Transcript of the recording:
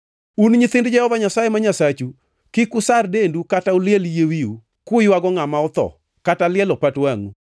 Un e nyithind Jehova Nyasaye ma Nyasachu. Kik usar dendu kata uliel yie wiu, kuywago ngʼama otho, kata lielo pat wangʼu,